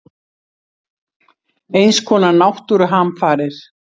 Eins konar náttúruhamfarir.